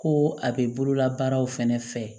Ko a bɛ bololabaaraw fɛnɛ fɛ